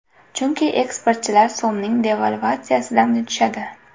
Chunki eksportchilar so‘mning devalvatsiyasidan yutishadi.